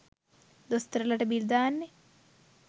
දොස්තරලට bill දාන්නේ?